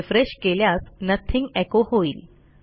refresh केल्यास nothing echo होइल